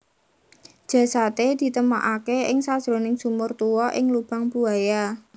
Jasadé ditemokaké ing sajroning sumur tuwa ing Lubang Buaya